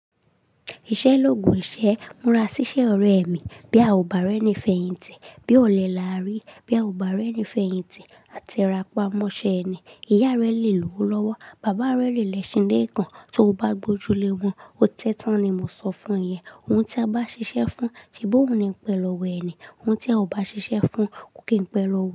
Ìṣẹ́ l'Ogun ìṣe. Múra ṣiṣẹ́ ore mi. Bí a ò bá rẹ́ni fèyìntì, bí o lẹ lárí, bí a ò bá rẹ́ni fèyìntì àte ra mọ́ṣẹ́ ẹni. Ìyá rẹ le lówó lọ́wọ́, bàbá rẹ le lẹ́ṣin ilé kan tó o bá gbójú lé wọn. Ó tẹ́ tán ni mo sọ fún ẹn. Ohun tí a bá ṣiṣẹ́ fún, se bi óun ni ń pẹ lọ́wọ́ ẹni. Ohun tí a kò bá ṣiṣẹ́ fún kì í pẹ lọ́wọ́